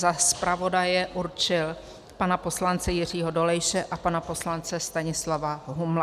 Za zpravodaje určil pana poslance Jiřího Dolejše a pana poslance Stanislava Humla.